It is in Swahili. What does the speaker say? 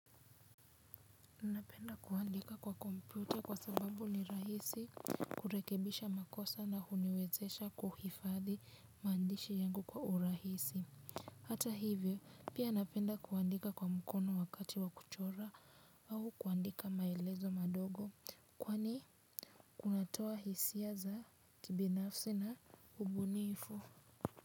Unapenda kuandika kwa kompyuta kwa sababu ni rahisi kurekebisha makosa na huniwezesha kuhifadhi mandishi yangu kwa urahisi. Hata hivyo pia napenda kuandika kwa mkono wakati wa kuchora au kuandika maelezo madogo kwani kunatoa hisia za kibinafsi na ubunifu.